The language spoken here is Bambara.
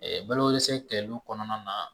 balosɛ kɛliw kɔnɔna na